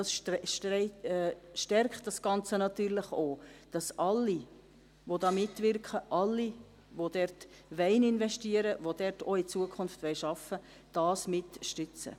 Dies stärkt das Ganze natürlich auch: dass alle, die mitwirken, alle, die dort investieren und in Zukunft dort arbeiten wollen, es mitstützen.